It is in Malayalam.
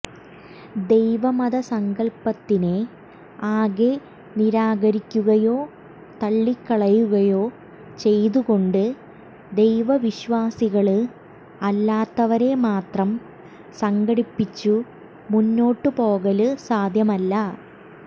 ദൈവ മതസങ്കല്പത്തിനെ ആകെ നിരാകരിക്കുകയോ തള്ളിക്കയുകയോ ചെയ്തുകൊണ്ട് ദൈവവിശ്വാസികള് അല്ലാത്തവരെമാത്രം സംഘടിപ്പിച്ചു മുന്നോട്ടുപോകല് സാധ്യമല്ല